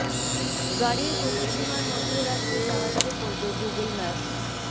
গাড়ির গতি সীমার মধ্যে রাখতে সাহায্য করবে গুগল ম্যাপস